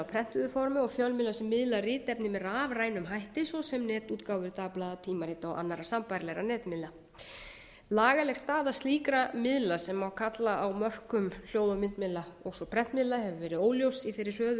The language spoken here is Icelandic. prentuðu formi og fjölmiðla sem miðla ritefni með rafrænum hætti svo sem netútgáfu dagblaða tímarita og annarra sambærilegra netmiðla lagaleg staða slíkra miðla sem má kalla á mörkum hljóð og myndmiðla og svo prentmiðla hefur verið óljós í þeirri hröðu þróun